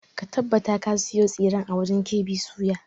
Ka tabbata ka sayo tsiren a wajen KB soya!